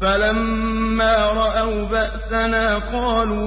فَلَمَّا رَأَوْا بَأْسَنَا قَالُوا